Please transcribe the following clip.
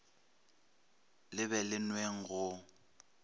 le be le nweng go